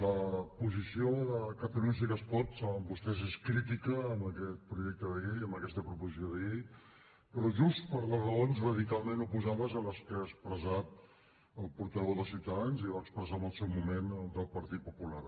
la posició de catalunya sí que es pot ho saben vostès és crítica amb aquest projecte de llei amb aquesta proposició de llei però just per les raons radicalment oposades a les que ha expressat el portaveu de ciutadans i va expressar en el seu moment el del partit popular